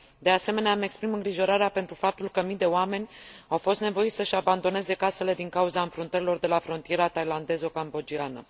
De asemenea, îmi exprim îngrijorarea pentru faptul că mii de oameni au fost nevoiți să și abandoneze casele din cauza înfruntărilor de la frontiera thailandezo cambodgiană.